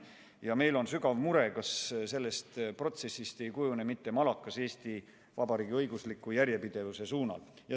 Ja meil on sügav mure, kas sellest protsessist ei kujune mitte malakas Eesti Vabariigi õigusliku järjepidevuse suunal.